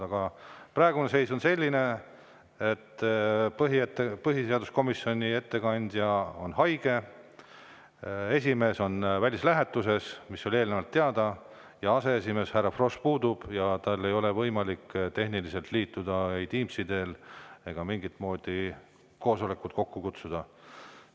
Aga praegune seis on selline, et põhiseaduskomisjoni ettekandja on haige, esimees on välislähetuses, mis oli eelnevalt teada, ja aseesimees härra Frosch puudub ja tal ei ole võimalik tehniliselt liituda ei Teamsi teel ega mingit moodi koosolekut kokku kutsuda.